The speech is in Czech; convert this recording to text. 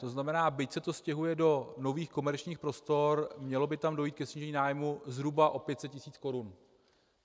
To znamená, byť se to stěhuje do nových komerčních prostor, mělo by tam dojít ke snížení nájmu zhruba o 500 tisíc korun.